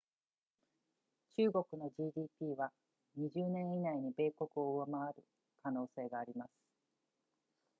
中国の gdp は20年以内に米国を上回る可能性があります